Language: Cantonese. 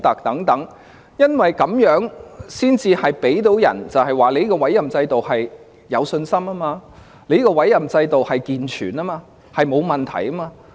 這樣才可以令人對這個委任制度有信心，認為它健全及沒有問題。